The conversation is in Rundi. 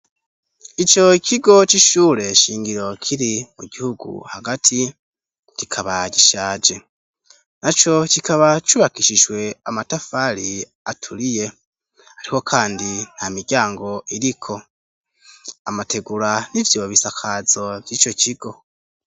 ico kigo c'ishure shingiro kiri mu gihugu hagati kikaba gishaje. Naco kikaba cubakishijwe amatafari aturiye ariko kandi nta miryango iriko, amategura ni vyo bisakazo vy'ico kigo.